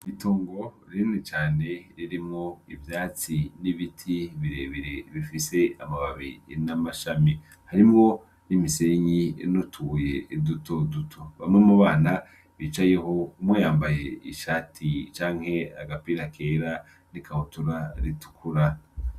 Itungo rinini cane ririmwo ivyatsi n'ibiti birebere bifise amababi n'amashami, harimwo n'imisenyi inutuye duto duto, bamwe mu bana bicayeho umwe yambaye ishati canke agapira kera n'ikabutura ritukura.